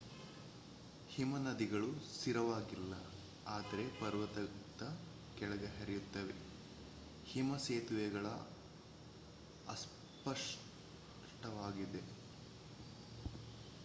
ಹಿಮನದಿಗಳು ಸ್ಥಿರವಾಗಿಲ್ಲ ಆದರೆ ಪರ್ವತದ ಕೆಳಗೆ ಹರಿಯುತ್ತವೆ ಹಿಮ ಸೇತುವೆಗಳು ಅಸ್ಪಷ್ಟವಾಗಿರುತ್ತವೆ ಹೀಗಾಗಿ ಬಿರುಕುಗಳು ಮತ್ತು ಕೊರಕುಗಳಿಗೆ ಕಾರಣವಾಗಬಹುದು